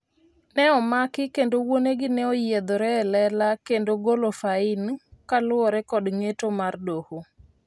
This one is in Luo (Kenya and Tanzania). ne omaki kendo wuonegi ne onyiedhore e lela kendo golo fain kaluwore kod ng'eto mar doho